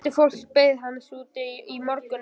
Fjöldi fólks beið hans úti í morgninum.